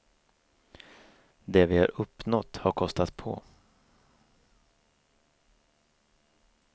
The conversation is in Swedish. Det vi har uppnått har kostat på.